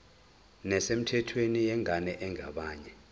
nesemthethweni yengane engeyabanye